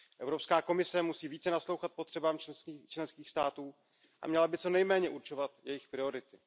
Evropská komise musí více naslouchat potřebám členských států a měla by co nejméně určovat jejich priority.